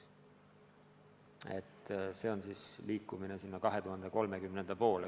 Aga sinnapoole me aastaks 2030 liigume.